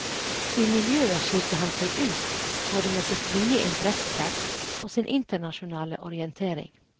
I miljøet skilte han seg ut både med sitt vide interessefelt og sin internasjonale orientering.